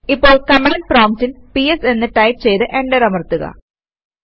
ഇപ്പോൾ കമാന്ഡ് പ്രോംപ്റ്റിൽ പിഎസ് എന്ന് ടൈപ് ചെയ്ത് എന്റർ അമർത്തുക